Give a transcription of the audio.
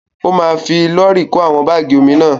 Ó ma fi lọ́rì kó àwọn bágì omi náà.